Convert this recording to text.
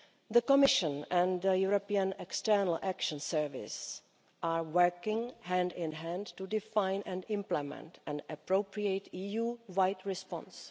The Commission and the European External Action Service are working hand in hand to define and implement an appropriate EU-wide response.